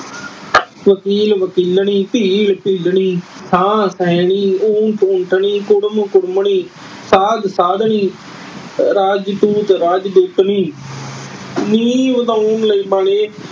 ਵਕੀਲ ਵਕੀਲਣੀ, ਭੀਲ ਭੀਲਣੀ, ਊਠ-ਊਠਣੀ, ਕੁੜਮ-ਕੁੜਮਣੀ, ਸਾਧ-ਸਾਧਣੀ, ਰਾਜਦੂਤ-ਰਾਜਦੂਤਣੀ। ਨੀ ਲਈ ਬਣੇ